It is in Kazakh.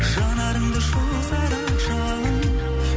жанарымды шоқса да жалын